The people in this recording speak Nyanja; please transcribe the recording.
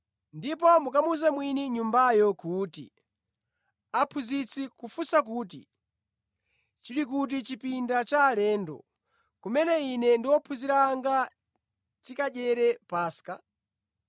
ndipo mukamuwuze mwini nyumbayo kuti, ‘Aphunzitsi kufunsa kuti, chili kuti chipinda cha alendo, kumene Ine ndi ophunzira anga tikadyere Paska?’